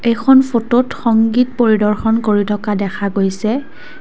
এইখন ফটোত সংগীত পৰিদৰ্শন কৰি থকা দেখা গৈছে।